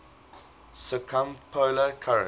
circumpolar current